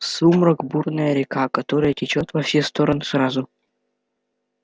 сумрак бурная река которая течёт во все стороны сразу